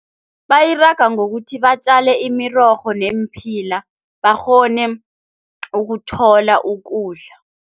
Bayiraga ngokuthi batjale imirorho neemphila bakghone ukuthola ukudla.